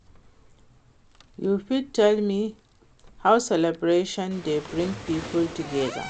You fit tell me how celebration dey bring people together?